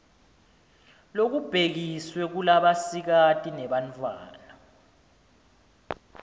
lobubhekiswe kulabasikati nebantfwana